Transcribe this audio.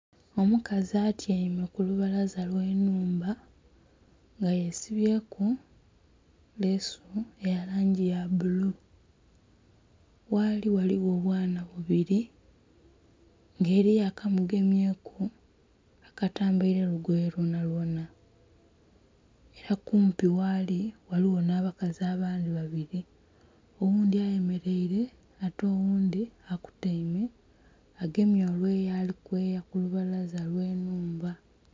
Omukazi atyaime ku lubalaza lwe nnhumba nga yesibyeku leesu eya langi ya bbulu. Ghaali ghaligho obwana bubili nga eliyo akamugemyeku akatambaile lugoye lwonalwona, ela kumpi ghaali ghaligho nh'abakazi abandhi babili oghundhi ayemeleile ate oghundhi akutaime agemye olweyo ali kweya lubalaza lw'ennhumba